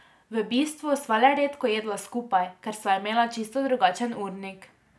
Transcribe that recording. V bistvu sva le redko jedla skupaj, ker sva imela čisto drugačen urnik.